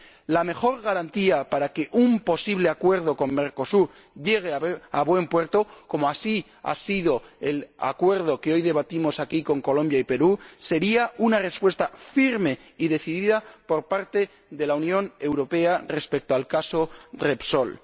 La mejor garantía para que un posible acuerdo con Mercosur llegue a buen puerto, como así ha sido con el Acuerdo que hoy debatimos aquí con Colombia y Perú, sería una respuesta firme y decidida por parte de la Unión Europea respecto al caso Repsol.